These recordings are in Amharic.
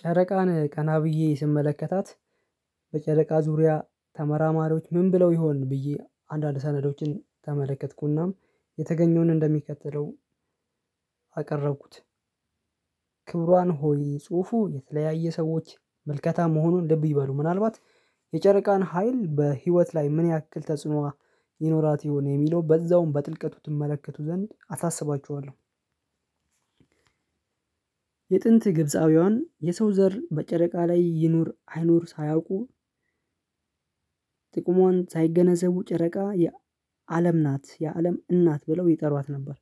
ጨረቃን ቀና ብዬ ስመለከታት በጨረቃ ዙሪያ ተመራማሪዎች ምን ብለው ይሆን ብዬ አንዳንድ ሰነዶችን ተመለከትኩናም የተገኘውን እንደሚከተለው አቀረብኩት። ክብሯን ሆይ ጽሁፉ የተለያየ ሰዎች መልከታ መሆኑን ልብ ይበሉ ምናልባት የጨረቃን ሀይል በህይወት ላይ ምን ያክል ተጽዕኖ ይኖራት ይሆን የሚለው በዛውም በጥልቀቱ ትመለከቱ ዘንድ አሳስባችኋለሁ። የጥንት ግብፃውያን የሰው ዘር በጨረቃ ላይ ይኑር አይኑር ሳያውቁ ጥቁሟን ሳይገነዘቡ ጨረቃ የ አለም ናት የአለም እናት ብለው ይጠሯት ነበር።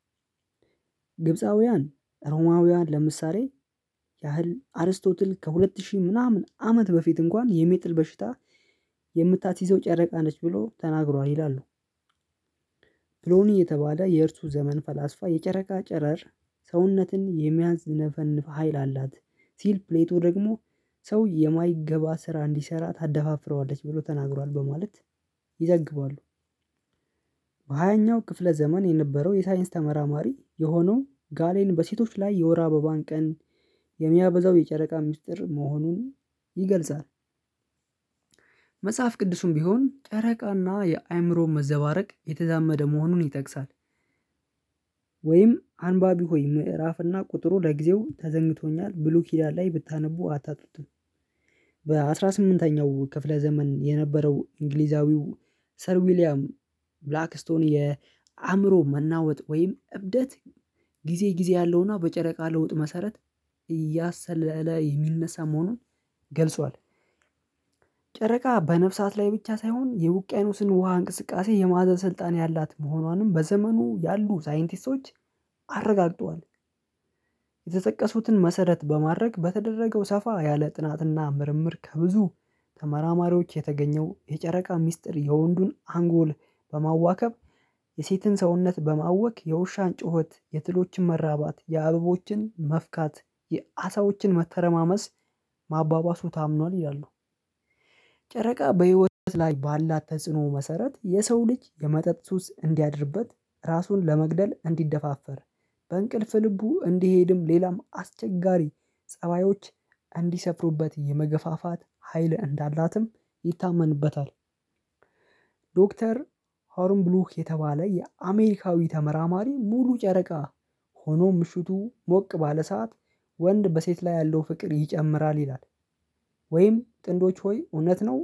ግብፃውያን ሮማውያን ለምሳሌ ያህል አርስቶትል ከሁለት ሺህ ምናምን አመት በፊት እንኳን የሚጥል በሽታ የምታስይዘው ጨረቃ ነች ብሎ ተናግሯል ይላሉ። ብሎኒ የተባለ የእርሱ ዘመን ፈላስፋ የጨረቃ ጨረር ሰውነትን የሚያዝንፈንፍ ሀይል አላት ሲል ፕሌቶ ደግሞ ሰው የማይገባ ስራ እንዲሰራ ታደፋፍረዋለች ብሎ ተናግሯል በማለት ይዘግባሉ። በሃያኛው ክፍለ ዘመን የነበረው የሳይንስ ተመራማሪ የሆነው ጋሌን በሴቶች ላይ የወር አበባን ቀን የሚያበዛው የጨረቃ ሚስጥር መሆኑን ይገልጻል። መጽሐፍ ቅዱሱም ቢሆን ጨረቃና የአይምሮ መዘባረቅ የተዛመደ መሆኑን ይጠቅሳል። ወይም አንባቢ ሆይ ምዕራፍና ቁጥሩ ለጊዜው ተዘንግቶኛል ብሉ ኪዳን ላይ ብታነቡ አታጡትም። በአሥራ ስምንተኛው ክፍለ ዘመን የነበረው እንግሊዛዊው ሰር ዊሊያም ብላክስቶን የአእምሮ መናወጥ ወይም እብደት ጊዜ ጊዜ ያለውና በጨረቃ ለውጥ መሰረት እያሰለለ የሚነሳ መሆኑን ገልጿል። ጨረቃ በነፍሳት ላይ ብቻ ሳይሆን የውቅያኖስን ውሃ እንቅስቃሴ የማዕዘን ስልጣን ያላት መሆኗንም በዘመኑ ያሉ ሳይንቲስቶች አረጋግጠዋል። የተጠቀሱትን መሰረት በማረግ በተደረገው ሰፋ ያለ ጥናትና ምርምር ከብዙ ተመራማሪዎች የተገኘው የጨረቃ ሚስጥር የወንዱን አንጎል በማዋከብ የሴትን ሰውነት በማወክ የውሻን ጩኸት የትሎችን መራባት የአበቦችን መፍካት የአሳዎችን መተረማመስ ማባባሱ ታምኗል ይላሉ። ጨረቃ በህይወት ላይ ባላት ተጽዕኖ መሰረት የሰው ልጅ የመጠጥ ሱስ እንዲያድርበት ራሱን ለመግደል እንዲደፋፈር በእንቅልፍ ልቡ እንዲሄድም ሌላም አስቸጋሪ ፀባዮች እንዲሰፍሩበት የመገፋፋት ሀይል እንዳላትም ይታመንበታል። ዶክተር ሆርን ብሉክ የተባለ የአሜሪካዊ ተመራማሪ ሙሉ ጨረቃ ሆኖ ምሽቱ ሞቅ ባለ ሰዓት ወንድ በሴት ላይ ያለው ፍቅር ይጨምራል ይላል። ወይም ጥንዶች ሆይ እውነት ነው።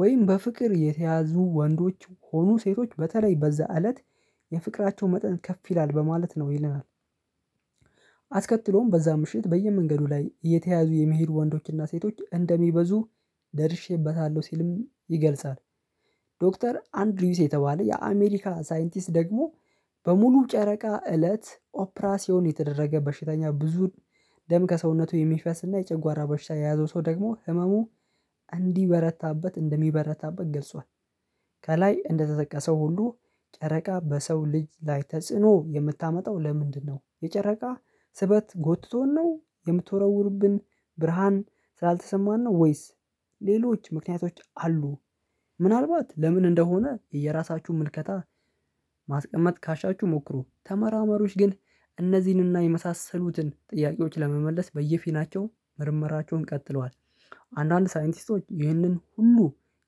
ወይም በፍቅር የተያዙ ወንዶች ሆኖ ሴቶች በተለይ በዛ እለት የፍቅራቸው መጠን ከፍ ይላል በማለት ነው ይለናል። አስከትሎም በዛ ምሽት በየመንገዱ ላይ እተያዙ የመሄድ ወንዶችና ሴቶች እንደሚበዙ ደርሼበታለሁ ሲልም ይገልጻል። ዶክተር አንድ ሪውስ የተባለ የአሜሪካ ሳይንቲስት ደግሞ በሙሉ ጨረቃ እለት ኦፕራሲዮን የተደረገ በሽተኛ ብዙ ደም ከሰውነቱ የሚፈስ እና የጨጓራ በሽታ የያዘው ሰው ደግሞ ህመሙ እንዲበረታበት እንደሚበረታበት ገልጿል። ከላይ እንደተጠቀሰው ሁሉ ጨረቃ በሰው ልጅ ላይ ተጽዕኖ የምታመጣው ለምንድነው? የጨረቃ ስበት ጎትቶን ነው የምትወረውርብን? ብርሃን ስላልተሰማን ነው ወይስ ሌሎች ምክንያቶች አሉ? ምናልባት ለምን እንደሆነ የእራሳችሁን ምልከታ ማስቀመጥ ካሻችሁ ሞክሩ ተመራመሪወች ግን እነዚህንና የመሳሰሉትን ጥያቄዎች ለመመለስ በየፊናቸው ምርመራቸውን ቀጥለዋል። አንዳንድ ሳይንቲስቶች ይህንን ሁሉ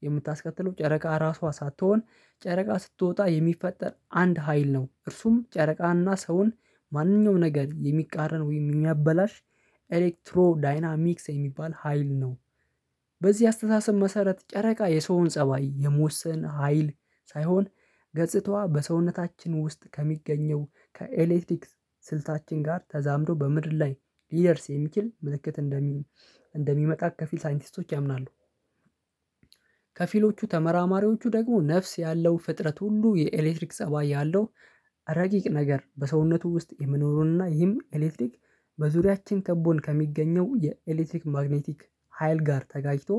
የምታስከትለው ጨረቃ ራሷ ሳትሆን ጨረቃ ስትወጣ የሚፈጠር አንድ ሀይል ነው እርሱም ጨረቃና ሰውን ማንኛውም ነገር የሚቃረን ወይም የሚያበላሽ ኤሌክትሮ ዳይናሚክስ የሚባል ሀይል ነው። በዚህ አስተሳሰብ መሰረት ጨረቃ የሰውን ፀባይ የመወሰን ሀይል ሳይሆን ገጽታዋ በሰውነታችን ውስጥ ከሚገኘው ከኤሌክትሪክስ ስልታችን ጋር ተዛምዶ በምድር ላይ ሊደርስ የሚችል ምልክት እንደሚመጣ ከፊል ሳይንቲስቶች ያምናሉ። ከፊሎቹ ተመራማሪዎቹ ደግሞ ነፍስ ያለው ፍጥረት ሁሉ የኤሌክትሪክ ፀባይ ያለው ረቂቅ ነገር በሰውነቱ ውስጥ የሚኖሩንና ይህም ኤሌክትሪክ በዙሪያችን ከቦን ከሚገኘው የኤሌክትሪክ ማግኔቲክ ሀይል ጋር ተጋጭቶ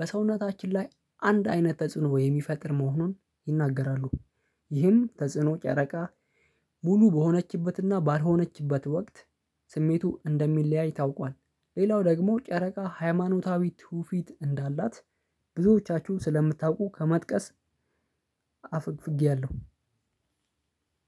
በሰውነታችን ላይ አንድ አይነት ተጽዕኖ የሚፈጥር መሆኑን ይናገራሉ። ይህም ተጽዕኖ ጨረቃ ሙሉ በሆነችበትና ባልሆነችበት ወቅት ስሜቱ እንደሚለያይ ታውቋል። ሌላው ደግሞ ጨረቃ ሃይማኖታዊ ትውፊት እንዳላት ብዙዎቻችሁ ስለምታውቁ ከመጥቀስ አፈግፍግያለሁ።